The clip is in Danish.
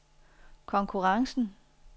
konkurrencen